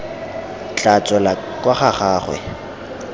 tla tswela kwa ga gagwe